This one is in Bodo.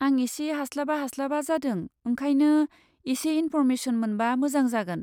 आं एसे हास्लाबा हास्लाबा जादों ओंखायनो एसे इन्फ'र्मेसन मोनबा मोजां जागोन।